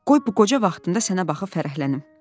Qoy bu qoca vaxtında sənə baxıb fərəhlənim."